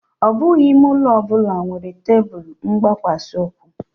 Ọ bụghị ime ụlọ ọ bụla nwere tebụl mgbakwasa